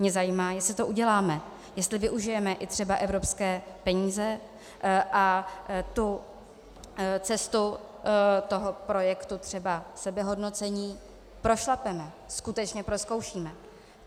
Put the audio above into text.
Mě zajímá, jestli to uděláme, jestli využijeme i třeba evropské peníze a tu cestu toho projektu, třeba sebehodnocení, prošlapeme, skutečně prozkoušíme.